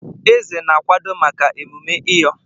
Eze na-akwado maka emume ẹyọ.